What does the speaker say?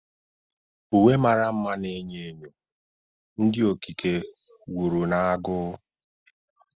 Uwe mara mma na enyo enyo, ndị okike wuru na agụụ.